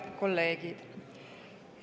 Head kolleegid!